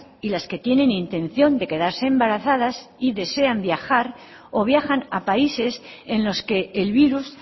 y las que tienen intención de quedarse embarazadas y desean viajar o viajan a países en los que el virus